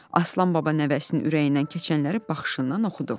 Aslan baba nəvəsinin ürəyindən keçənləri baxışından oxudu.